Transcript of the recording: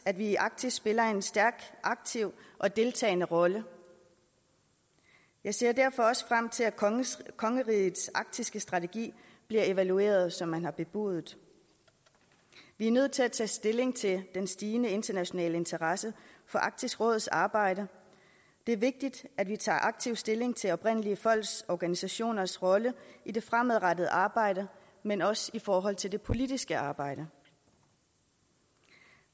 at vi i arktis spiller en stærk aktiv og deltagende rolle jeg ser derfor også frem til at kongerigets arktiske strategi bliver evalueret som man har bebudet vi er nødt til at tage stilling til den stigende internationale interesse for arktisk råds arbejde det er vigtigt at vi tager aktiv stilling til oprindelige folks organisationers rolle i det fremadrettede arbejde men også i forhold til det politiske arbejde